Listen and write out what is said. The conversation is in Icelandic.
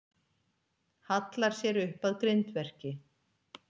Hallar sér upp að grindverki.